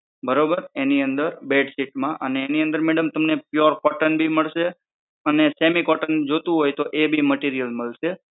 બરોબર એની અંદર બેડશીટમાં અને એની અંદર madam તમને pure cotton ભી મળશે અને semi cotton જોઈતું હોય તો એ ભી material મળશે.